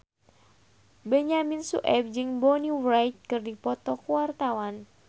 Benyamin Sueb jeung Bonnie Wright keur dipoto ku wartawan